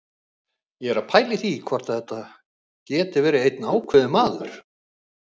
Ég er að pæla í því hvort þetta geti verið einn ákveðinn maður.